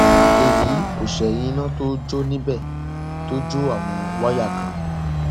èyí kò sì ṣẹyìn iná tó jó níbẹ tó jó àwọn wáyà kan